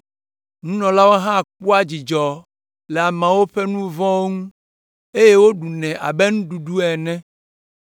Nunɔlawo hã kpɔa dzidzɔ le ameawo ƒe nu vɔ̃ ŋu, eye woɖunɛ abe nuɖuɖu ene,